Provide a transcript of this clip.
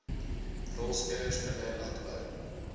rolspelers binne landbou